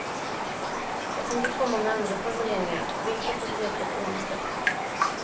Jag tänker komma med andra formuleringar, vilka får du veta på onsdag.